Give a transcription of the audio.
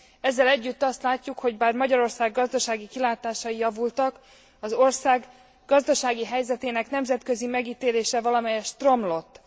Ezzel együtt azt látjuk, hogy bár Magyarország gazdasági kilátásai javultak, az ország gazdasági helyzetének nemzetközi megítélése valamelyest romlott.